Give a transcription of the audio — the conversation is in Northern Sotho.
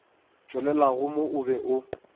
tšwelelago mo o be o